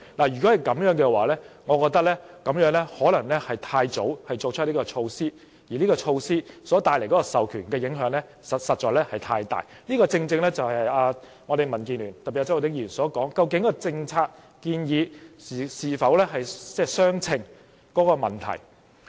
如果是這樣的話，我覺得政府可能太早提出這措施，而授權帶來的影響實在太多，這正是民建聯，特別是周浩鼎議員所說，政策建議究竟與問題的嚴重性是否相稱。